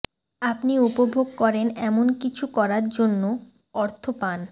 আপনি উপভোগ করেন এমন কিছু করার জন্য অর্থ পান